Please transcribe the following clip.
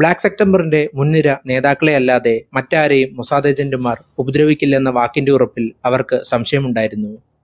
black september ന്റെ മുൻനിര നേതാക്കളെയല്ലാതെ മറ്റാരെയും മൊസാദ് agent മാർ ഉപദ്രവിക്കില്ലെന്ന വാക്കിന്റെ ഉറപ്പിൽ അവർക്ക് സംശയമുണ്ടായിരുന്നു.